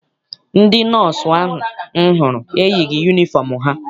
Ndị nọọsụ ahụ m hụrụ eyighị yunifọm ha.